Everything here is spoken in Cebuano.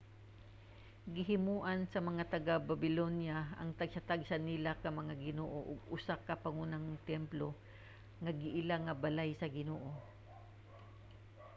gihimoan sa mga taga-babilonya ang tagsa-tagsa nila ka mga ginoo og usa ka pangunang templo nga giila nga balay sa ginoo